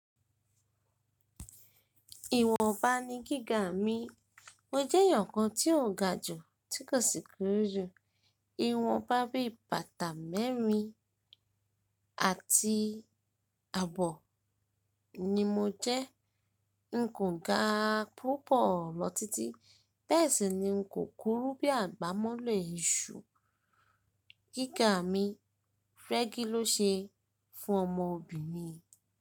Ìwọ̀nba ni gíga mi, mo jẹ́ èèyàn kan tí ò ga jù tí kò sì kúrú jù. Ìwọ̀nba bí bàtà mẹ́rin àti àbọ̀ ni mo jẹ́. N kò ga púpọ̀ lọ títí bẹ́ẹ̀ sì ni n kò kúrú bí àgbámọ́lẹ̀ iṣu. Gíga mi rẹ́gí ló ṣe fún ọmọbìnrin.